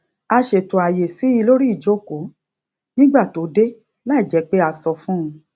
a ṣètò àyè sí i lórí ìjokòó nígbà tó dé láìjé pé a sọ fún un